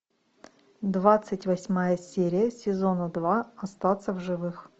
двадцать восьмая серия сезона два остаться в живых